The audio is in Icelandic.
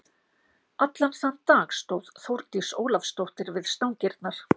Allan þann dag stóð Þórdís Ólafsdóttir við stangirnar.